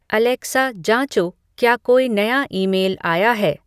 Alexa जाँचो क्या कोई नया ईमेल आया है